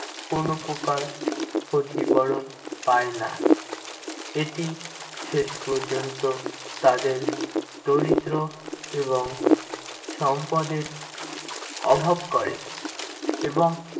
কোনো প্রকার ক্ষতিপূরণ পায়না। এটি শেষ পর্যন্ত তাদের দরিদ্র এবং সম্পদের অভাব করে এবং